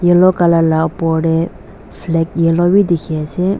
yellow colour la opor tae flag yellow bi dikhiase.